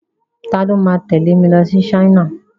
Ta ni ó máa tẹ̀lé mi lọ sí China?